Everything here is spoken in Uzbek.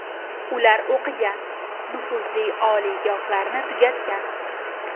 Ular o‘qigan, nufuzli oliygohlarni tugatgan.